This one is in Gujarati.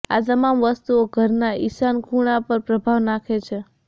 આ તમામ વસ્તુઓ ઘરના ઈશાન ખૂણા પર પ્રભાવ નાખે છે